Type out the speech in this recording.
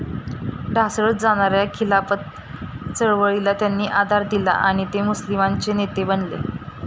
ढासळत जाणाऱ्या खिलाफत चळवळीला त्यांनीं आधार दिला आणि ते मुस्लिमांचे नेते बनले.